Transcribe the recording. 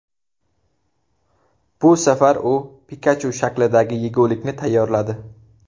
Bu safar u Pikachu shaklidagi yegulikni tayyorladi.